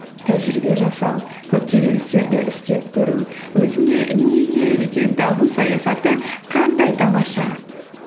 тәжірибе жасау көптеген істерді істеп көру өзіңе не керек екенін табу саяхаты қандай тамаша